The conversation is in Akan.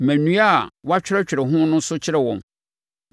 Ma nnua a woatwerɛtwerɛ ho no so kyerɛ wɔn